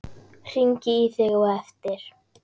Hringi í þig á eftir.